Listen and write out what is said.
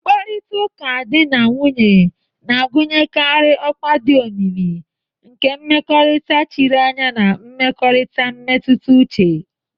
Mkparịta ụka di na nwunye na-agụnyekarị ọkwa dị omimi nke mmekọrịta chiri anya na mmekọrịta mmetụta uche.